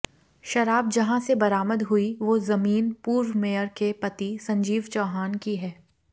शराब जहां से बरामद हुई वो जमीन पूर्व मेयर के पति संजीव चौहान की है